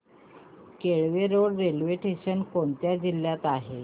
Kelve road railway station कोणत्या जिल्ह्यात आहे